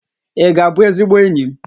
Ị ga-abụ ezigbo enyi m?